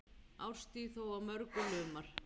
Árstíð þó á mörgu lumar.